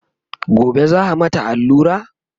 gobe za'a mata allura?